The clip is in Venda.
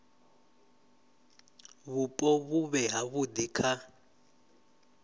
vhupo vhu vhe havhudi kha